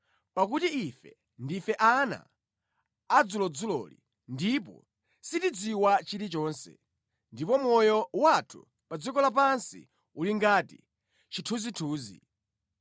pakuti ife ndife ana adzulodzuloli ndipo sitidziwa chilichonse, ndipo moyo wathu pa dziko lapansi uli ngati chithunzithunzi.